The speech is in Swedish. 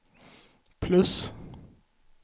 plus